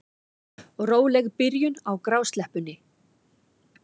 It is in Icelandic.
Róleg byrjun á grásleppunni